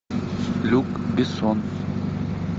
люк бессон